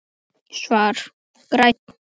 Svar: Grænn